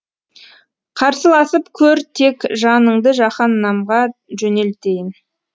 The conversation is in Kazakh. қарсыласып көр тек жаныңды жаһаннамға жөнелтейін